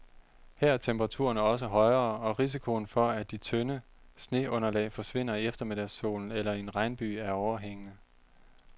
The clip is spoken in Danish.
Her er temperaturerne også højere, og risikoen for, at de tynde sneunderlag forsvinder i eftermiddagssolen eller i en regnbyge er overhængende.